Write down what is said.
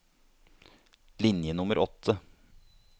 Linje nummer åtte